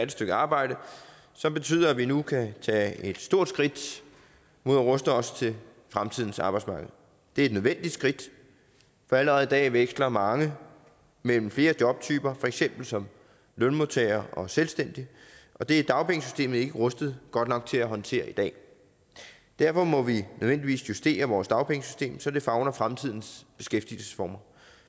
stykke arbejde som betyder at vi nu kan tage et stort skridt mod at ruste os til fremtidens arbejdsmarked det er et nødvendigt skridt for allerede i dag veksler mange mellem flere jobtyper for eksempel som lønmodtagere og selvstændige og det er dagpengesystemet ikke rustet godt nok til at håndtere i dag derfor må vi nødvendigvis justere vores dagpengesystem så det favner fremtidens beskæftigelsesformer